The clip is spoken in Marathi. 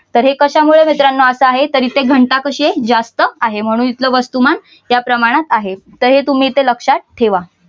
तर हे कश्यामुळे मित्रानो आता आहे तर इथे घनता कशी आहे जास्त आहे म्हणून इथलं वस्तुमान या प्रमाणात आहे. तर हे तुम्ही इथे लक्षात ठेवा.